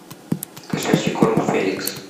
кошачий корм феликс